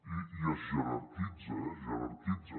i es jerarquitza eh es jerarquitza